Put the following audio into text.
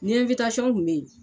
Nin ɛnwitasɔn kun be yen